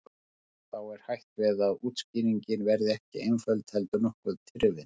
Þá er hætt við að útskýringin verði ekki einföld heldur nokkuð tyrfin.